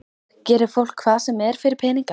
Gerir fólk hvað sem er fyrir peninga?